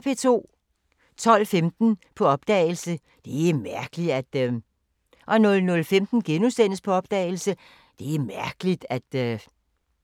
12:15: På opdagelse – Det er mærkeligt at ... 00:15: På opdagelse – Det er mærkeligt at ...*